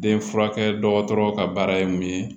Den furakɛ dɔgɔtɔrɔ ka baara ye mun ye